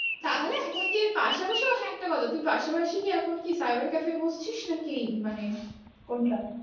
তাহলে এখন কি এর পাশা পাশিও পাশা পাশি কি এখন কি cyber cafe তে বসছিস নাকি মানে কোনটা